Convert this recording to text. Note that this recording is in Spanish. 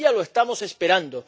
Todavía lo estamos esperando.